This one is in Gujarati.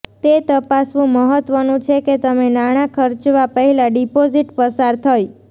તે તપાસવું મહત્વનું છે કે તમે નાણાં ખર્ચવા પહેલાં ડિપોઝિટ પસાર થઈ